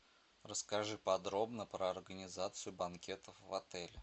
расскажи подробно про организацию банкетов в отеле